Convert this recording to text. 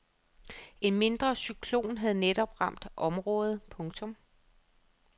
En mindre cyklon havde netop ramt området. punktum